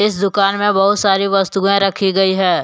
दुकान में बहुत सारी वस्तुएं रखी गई है।